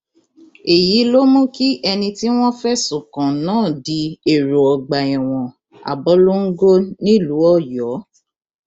èyí ló mú kí ẹni tí wọn fẹsùn kàn náà di èrò ọgbà ẹwọn abọlongo nílùú ọyọ